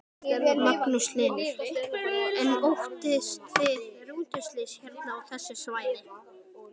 Magnús Hlynur: En óttist þið rútuslys hérna á þessu svæði?